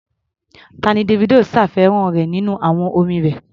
Tá ni Davido ṣàfihàn nínú àwo orin rẹ̀?